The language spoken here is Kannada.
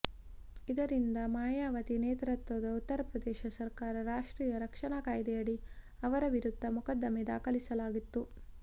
ಇದರಿಂದ ಮಾಯಾವತಿ ನೇತೃತ್ವದ ಉತ್ತರ ಪ್ರದೇಶ ಸರಕಾರ ರಾಷ್ಟ್ರೀಯ ರಕ್ಷಣಾ ಕಾಯ್ದೆಯಡಿ ಅವರ ವಿರುದ್ಧ ಮೊಕದ್ದಮೆ ದಾಖಲಿಸಲಾಗಿತ್ತು